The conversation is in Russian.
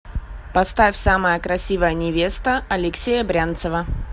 поставь самая красивая невеста алексея брянцева